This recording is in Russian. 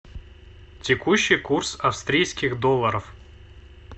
текущий курс австрийских долларов